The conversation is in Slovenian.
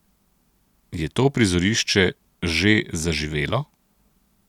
Je to prizorišče že zaživelo?